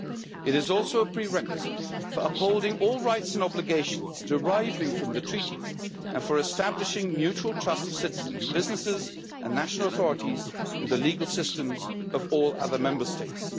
2 it is also a prerequisite for upholding all rights and obligations deriving from the Treaties and for establishing mutual trust of citizens, businesses and national authorities in the legal systems of all other Member States.